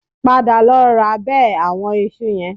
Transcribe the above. Padà lọ ra bẹ àwọn iṣu yẹn